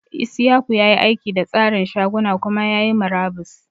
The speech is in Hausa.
Isiaku ya yi aiki da tsarin shaguna kuma ya yi murabus.